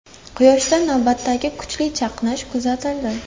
Quyoshda navbatdagi kuchli chaqnash kuzatildi.